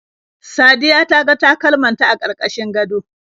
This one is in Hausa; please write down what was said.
Sadiya ta ga takalman ta a karkashin gado.